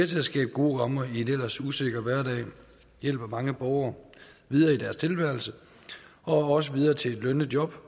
til at skabe gode rammer i en ellers usikker hverdag hjælper mange borgere videre i deres tilværelse og også videre til et lønnet job